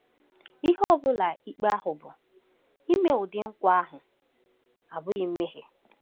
Ihe ọ bụla ikpe ahụ bụ, ime ụdị nkwa ahụ abụghị mmehie.